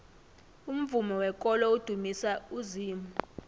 umvumo wekolo udumisa uzimu